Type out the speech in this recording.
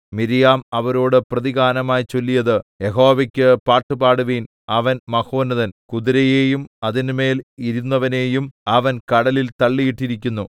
മിര്യാം അവരോടു പ്രതിഗാനമായി ചൊല്ലിയത് യഹോവയ്ക്ക് പാട്ടുപാടുവിൻ അവൻ മഹോന്നതൻ കുതിരയെയും അതിന്മേൽ ഇരുന്നവനെയും അവൻ കടലിൽ തള്ളിയിട്ടിരിക്കുന്നു